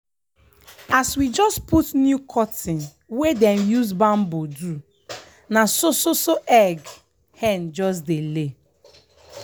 as we just put new curtain wey dem use bamboo do na so so egg hen just dey lay.